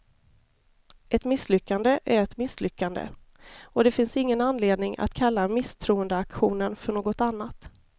Ett misslyckande är ett misslyckande, och det finns ingen anledning att kalla misstroendeaktionen för något annat.